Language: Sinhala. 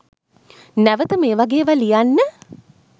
නැවත මේ වගේ ඒවා ලියන්න